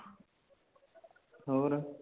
ਹੋਰ